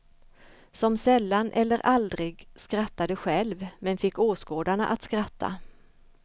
Som sällan eller aldrig skrattade själv men fick åskådarna att skratta.